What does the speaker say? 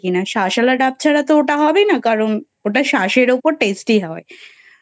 শাঁস ওলা ডাব ছাড়া তো ওটা হবে না কারণ ওটা শাঁসের ওপর Tasty হয়